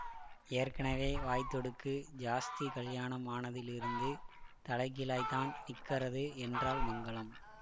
ஏற்கனவே வாய்த் துடுக்கு ஜாஸ்தி கல்யாணம் ஆனதிலிருந்து தலைகீழாய்த்தான் நிக்கறது என்றாள் மங்களம்